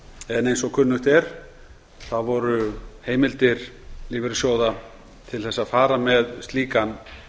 en eins og kunnugt er þá voru heimildir lífeyrissjóða til þess að fara með slíkan